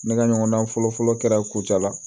Ne ka ɲɔgɔndan fɔlɔfɔlɔ kɛra kucala